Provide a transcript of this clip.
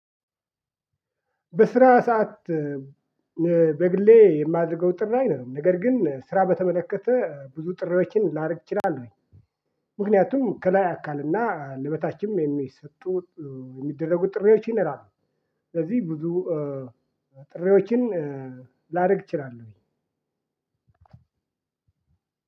በስራ ሰዓት በግሌ እማደርገው ጥራኝ ነው ነገር ግን ስራ በተመለከተ ብዙ ጥሪዎችን ላረግ እችላሉኝ። ምክንያቱም ከላይ አካልና ለበታችም የሚሰጡ የሚደረጉ ጥሪዎችን ይኖራሉ። ስለዚህ ብዙ ጥሪዎችን ላረግ እችላለሁኝ።